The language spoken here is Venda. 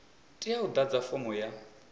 tea u ḓadza fomo ya